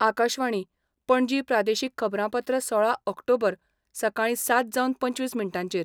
आकाशवाणी, पणजी प्रादेशीक खबरांपत्र सोळा ऑक्टोबर, सकाळी सात जावन पंचवीस मिनटांचेर